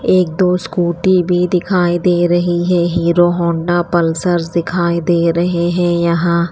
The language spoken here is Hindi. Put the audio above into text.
एक दो स्कूटी भी दिखाई दे रही है हीरो हौंडापल्सर दिखाई दे रहे हैं यहां--